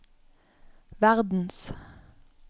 verdens